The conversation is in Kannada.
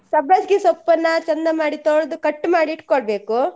ಸಬ್ಬಾಸ್ಗೆ ಸೊಪ್ಪನ್ನ ಚಂದ ಮಾಡಿ ತೋಳ್ದು cut ಮಾಡಿ ಇಟ್ಕೊಳ್ಬೇಕು.